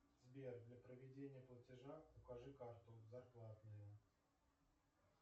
сбер для проведения платежа укажи карту зарплатную